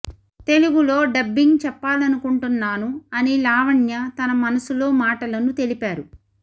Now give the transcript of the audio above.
తెలుగులో డబ్బింగ్ చెప్పాలనుకుంటున్నాను అని లావణ్య తన మనసులో మాటలను తెలిపారు